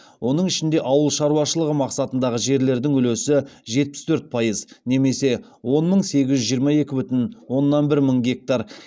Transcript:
оның ішінде ауыл шаруашылығы мақсатындағы жерлердің үлесі жетпіс төрт пайыз немесе он мың сегіз жүз жиырма екі бүтін оннан бір мың гектар